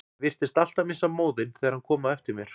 Ég virtist alltaf missa móðinn þegar hann kom á eftir mér.